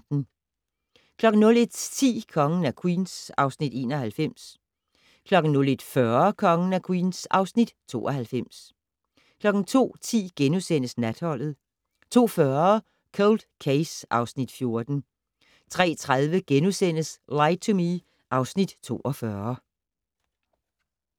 01:10: Kongen af Queens (Afs. 91) 01:40: Kongen af Queens (Afs. 92) 02:10: Natholdet * 02:40: Cold Case (Afs. 14) 03:30: Lie to Me (Afs. 42)*